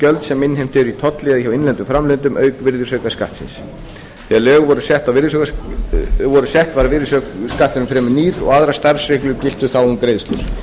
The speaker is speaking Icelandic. gjöld sem innheimt eru í tolli eða hjá innlendum framleiðendum auk virðisaukaskattsins þegar lögin voru sett var virðisaukaskatturinn fremur nýr og aðrar starfsreglur giltu þá um greiðslur